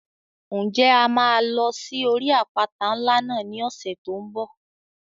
Ǹjẹ́ a máa lọ sí orí àpáta ńlá náà ní ọ̀sẹ̀ tó n bọ̀?